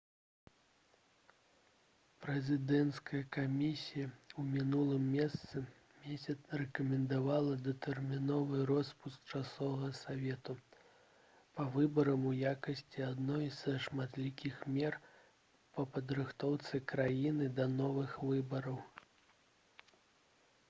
прэзідэнцкая камісія ў мінулым месяцы рэкамендавала датэрміновы роспуск часовага савету па выбарам у якасці адной са шматлікіх мер па падрыхтоўцы краіны да новых выбараў